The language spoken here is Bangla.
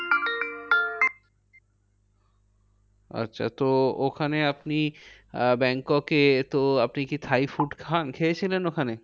আচ্ছা তো ওখানে আপনি আহ ব্যাংককে তো আপনি কি thai food খান, খেয়েছিলেন ওখানে?